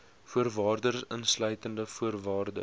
voorwaardes insluitende voorwaardes